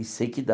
E sei que dá.